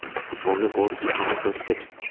Futbolni boricha qabul qilish kerak!.